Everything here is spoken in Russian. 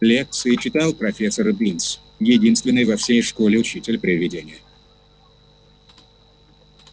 лекции читал профессор бинс единственный во всей школе учитель-привидение